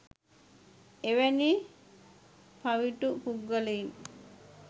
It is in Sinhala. එවැනි පවිටු පුද්ගලයින්